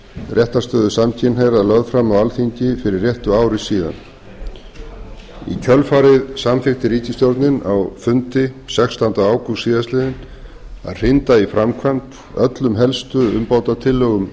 réttarstöðu samkynhneigðra lögð fram á alþingi fyrir réttu ári síðan í kjölfarið samþykkti ríkisstjórnin á fundi sextánda ágúst síðastliðnum að hrinda í framkvæmd öllum helstu umbótatillögum